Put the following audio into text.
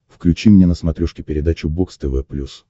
включи мне на смотрешке передачу бокс тв плюс